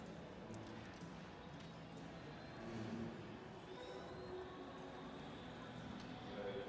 hmm hmm right